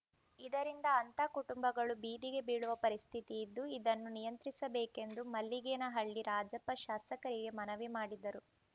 ಇದರಿಂದ ಅಂಥ ಕುಟುಂಬಗಳು ಬೀದಿಗೆ ಬೀಳುವ ಪರಿಸ್ಥಿತಿ ಇದ್ದು ಇದನ್ನು ನಿಯಂತ್ರಿಸಬೇಕೆಂದು ಮಲ್ಲಿಗೇನಹಳ್ಳಿ ರಾಜಪ್ಪ ಶಾಸಕರಿಗೆ ಮನವಿ ಮಾಡಿದರು